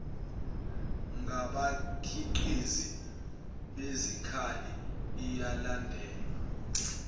ngabakhiqizi besikhali iyalandelwa